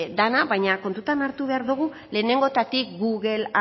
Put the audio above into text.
dana baina kontutan hartu behar dogu lehenengotatik google